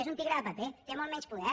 és un tigre de paper té molt menys poder